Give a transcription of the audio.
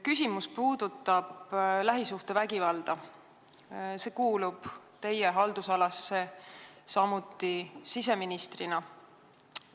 Küsimus puudutab lähisuhtevägivalda, see kuulub samuti teie kui siseministri haldusalasse.